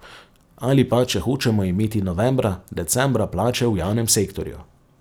Ali pa, če hočemo imeti novembra, decembra plače v javnem sektorju.